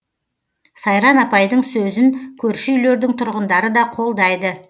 сайран апайдың сөзін көрші үйлердің тұрғындары да қолдайды